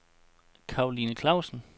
Karoline Klausen